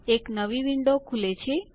એક નવી વિન્ડો ખુલે છે